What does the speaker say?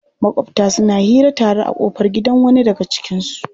Maƙwabta suna hira tare a ƙofar gidan wani daga cikinsu.